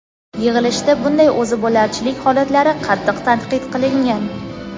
yig‘ilishda bunday o‘zibo‘larchilik holatlari qattiq tanqid qilingan.